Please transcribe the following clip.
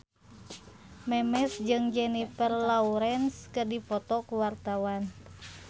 Memes jeung Jennifer Lawrence keur dipoto ku wartawan